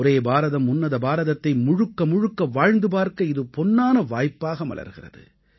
ஒரே பாரதம் உன்னத பாரதத்தை முழுக்க முழுக்க வாழ்ந்து பார்க்க இது பொன்னான வாய்ப்பாக மலர்கிறது